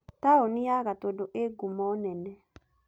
Taũni ya Gatundu ĩĩ ngumo nene.